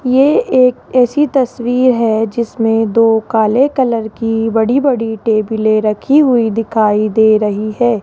ये एक ऐसी तस्वीर है जिसमे दो काले कलर की बड़ी बड़ी टेबले रखी हुई दिखाई दे रही है।